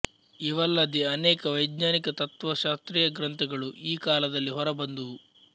ಇವಲ್ಲದೆ ಅನೇಕ ವ್ಶೆಜ್ಞಾನಿಕ ತತ್ತ್ವ ಶಾಸ್ತ್ರೀಯ ಗ್ರಂಥಗಳು ಈ ಕಾಲದಲ್ಲಿ ಹೊರಬಂದುವು